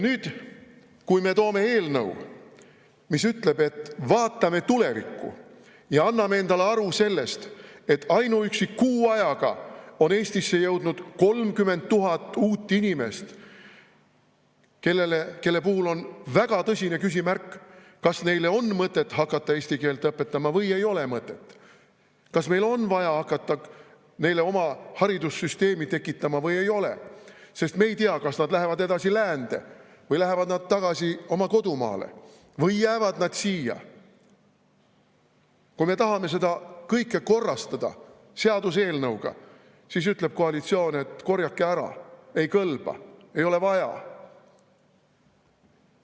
Nüüd, kui me toome eelnõu, mis ütleb, et vaatame tulevikku ja anname endale aru sellest, et ainuüksi kuu ajaga on Eestisse jõudnud 30 000 uut inimest, kelle puhul on väga tõsine küsimärk, kas neile on mõtet hakata eesti keelt õpetama või ei ole, kas meil on vaja hakata neile oma haridussüsteemi tekitama või ei ole, sest me ei tea, kas nad lähevad edasi läände või lähevad nad tagasi oma kodumaale või jäävad nad siia – kui me tahame seda kõike korrastada seaduseelnõuga, siis ütleb koalitsioon, et korjake ära, ei kõlba, ei ole vaja.